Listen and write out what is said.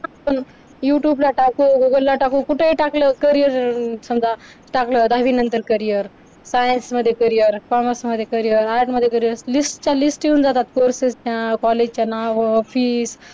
youtube ला टाकू google ला टाकू कुठेही टाकलं carrier समजा टाकलं दहावी नंतर carrier science मध्ये carriercommerce मध्ये carrier parts मध्ये carrier list च्या list येऊन जातात. courses च्या college च्या नावावर fees